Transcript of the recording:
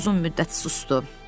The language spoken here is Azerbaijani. Hek uzun müddət susdu.